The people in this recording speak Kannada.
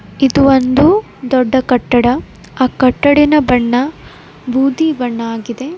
ಇದು ಒಂದು ದೊಡ್ಡ ಕಟ್ಟಡ ಆ ಕಟ್ಟಡದ ಬಣ್ಣ ಬೂದಿ ಬಣ್ಣ ಆಗಿದೆ.